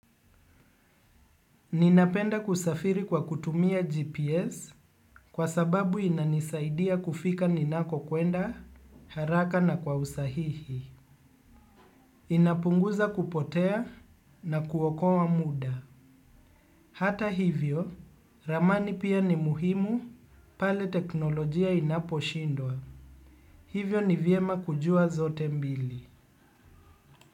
Ninapenda kusafiri kwa kutumia GPS kwa sababu inanisaidia kufika ninako kwenda haraka na kwa usahihi. Inapunguza kupotea na kuokoa muda. Hata hivyo, ramani pia ni muhimu pale teknolojia inapo shindwa. Hivyo ni vyema kujua zote mbili.